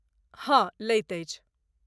हँ, लैत अछि।